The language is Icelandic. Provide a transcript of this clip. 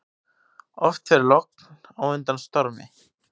Oft fer logn á undan stormi.